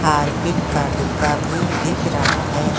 Harpic का डिब्बा भी दिख रहा है।